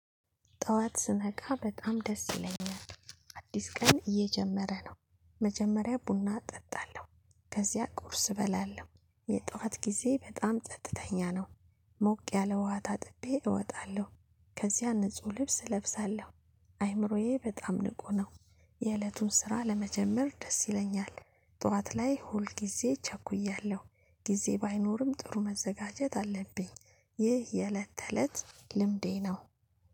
ጧዋት ስነቃ በጣም ደስ ይለኛል አዲስ ቀን እየጀመረ ነው። መጀመሪያ ቡና እጠጣለሁ። ከዚያ ቁርስ እበላለሁ የጧት ጊዜ በጣም ጸጥተኛ ነው። ሞቅ ያለ ዉሃ ታጥቤ እወጣለሁ። ከዚያ ንጹህ ልብስ እለብሳለሁ። አይምሮዬ በጣም ንቁ ነው። የእለቱን ስራ ለመጀመር ደስ ይለኛል። ጠዋት ላይ ሁል ጊዜ እቸኩያለሁ ጊዜ ባይኖርም ጥሩ መዘጋጀት አለብኝ። ይህ የእለት ተእለት ልምዴ ነው